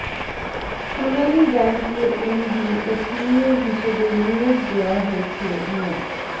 সোনালী ব্যাংকের এমডি ও সিইও হিসেবে নিয়োগ দেওয়া হয়েছে মো